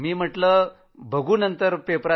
म्हटलं नंतर बघू